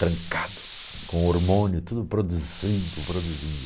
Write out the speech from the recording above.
Trancado, com hormônio, tudo produzindo, produzindo.